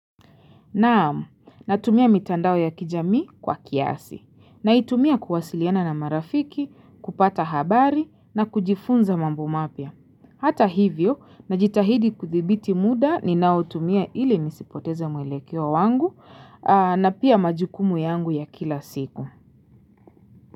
Naamu, natumia mitandao ya kijami kwa kiasi, naitumia kuwasiliana na marafiki, kupata habari, na kujifunza mambo mapya. Hata hivyo, najitahidi kuthibiti muda ni nao tumia ili nisipoteze mwelekeo wangu, na pia majukumu yangu ya kila siku.